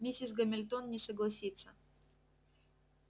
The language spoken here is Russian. миссис гамильтон не согласится